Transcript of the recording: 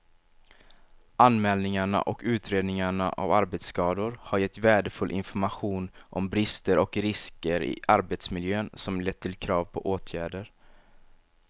Anmälningarna och utredningarna av arbetsskador har gett värdefull information om brister och risker i arbetsmiljön som lett till krav på åtgärder.